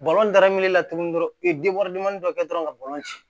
darame la tuguni dɔrɔn i ye dɔ kɛ dɔrɔn ka ci